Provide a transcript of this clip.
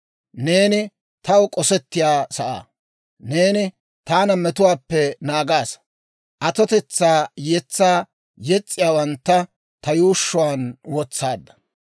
Neeni taw k'osettiyaa sa'aa; neeni taana metuwaappe naagaasa. Atotetsaa yetsaa yes's'iyaawantta ta yuushshuwaan wotsaadda.